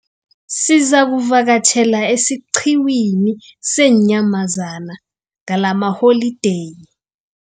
Aizakuvakatjhela esiqhiwini seenyamazana ngalamaholideyi.